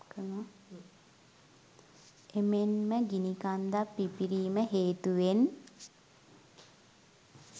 එමෙන්ම ගිනිකන්දක් පිපිරීම හේතුවෙන්